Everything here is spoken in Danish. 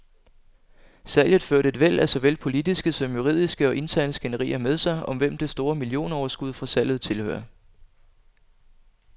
Salget førte et væld af såvel politiske som juridiske og interne skænderier med sig, om hvem det store millionoverskud fra salget tilhører.